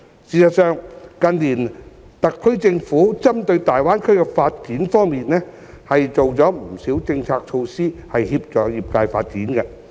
事實上，特區政府近年針對大灣區的發展方面，做了不少政策措施以協助業界發展。